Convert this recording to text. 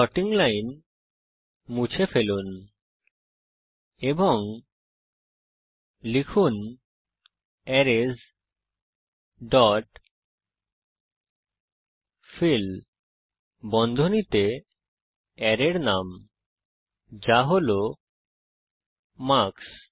sorting line মুছে ফেলুন এবং লিখুন অ্যারেস ডট ফিল বন্ধনীতে অ্যারের নাম যা হল মার্কস